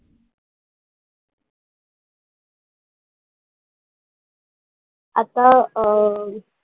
आत्ता, अं